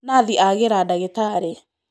Nathi agĩra ndagĩtarĩ